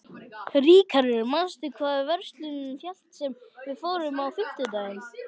Ríkharður, manstu hvað verslunin hét sem við fórum í á fimmtudaginn?